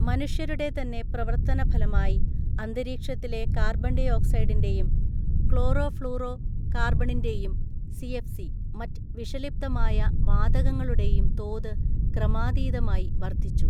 മനുഷ്യരുടെ തന്നെ പ്രവർത്തനഫലമായി അന്തരീക്ഷ ത്തിലെ കാർബൺഡൈ ഓക്സൈഡിന്റെയും ക്ലോറോ ഫ്ളോറോ കാർബണിന്റെയും (സി.എഫ്.സി.) മറ്റ് വിഷലിപ്തമായ വാതകങ്ങളുടെയും തോത് ക്രമാതീതമായി വർദ്ധിച്ചു.